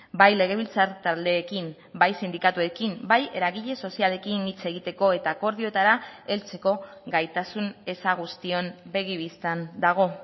bai legebiltzar taldeekin bai sindikatuekin bai eragile sozialekin hitz egiteko eta akordioetara heltzeko gaitasun eza guztion begi bistan dago